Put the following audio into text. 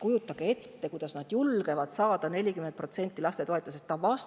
Kujutage ette, kuidas nad julgevad saada 40% toetustest!